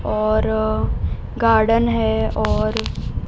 और गार्डन है और --